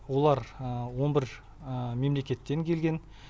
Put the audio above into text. олар он бір мемлекеттен келген